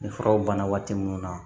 Nin furaw banna waati minnu na